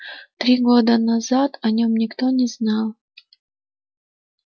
три года назад о нём никто не знал